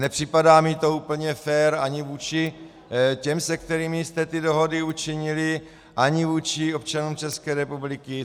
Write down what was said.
Nepřipadá mi to úplně fér ani vůči těm, se kterými jste ty dohody učinili, ani vůči občanům České republiky.